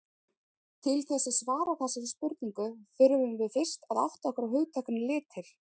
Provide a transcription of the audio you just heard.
Til þess að svara þessari spurningu þurfum við fyrst að átta okkur á hugtakinu litir.